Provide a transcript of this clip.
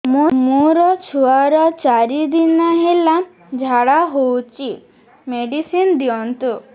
ମୋର ଛୁଆର ଚାରି ଦିନ ହେଲା ଝାଡା ହଉଚି ମେଡିସିନ ଦିଅନ୍ତୁ